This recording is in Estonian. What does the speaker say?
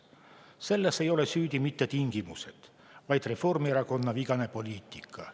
Selles ei ole süüdi mitte tingimused, vaid Reformierakonna vigane poliitika.